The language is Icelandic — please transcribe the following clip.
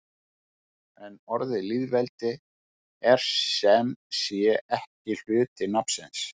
En orðið lýðveldi er sem sé ekki hluti nafnsins.